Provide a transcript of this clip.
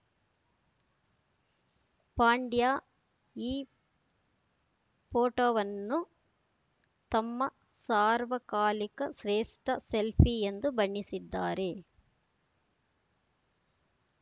ಪಾಂಡ್ಯ ಈ ಫೋಟೋವನ್ನು ತಮ್ಮ ಸಾರ್ವಕಾಲಿಕ ಶ್ರೇಷ್ಠ ಸೆಲ್ಫಿ ಎಂದು ಬಣ್ಣಿಸಿದ್ದಾರೆ